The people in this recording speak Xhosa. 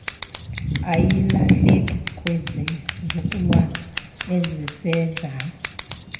ayilahleki kwizizukulwana ezisezayo